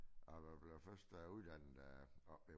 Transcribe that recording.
Og man bliver først uddannet øh oppe ved